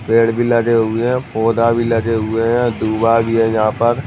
पेड़ भी लगे हुए है पौधा भी लगे हुए है भी है यहाँ पर ।